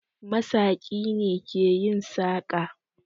Masaƙi ne ke yin saƙa